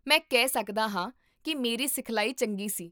ਮੈਂ ਕਹਿ ਸਕਦਾ ਹਾਂ ਕੀ ਮੇਰੀ ਸਿਖਲਾਈ ਚੰਗੀ ਸੀ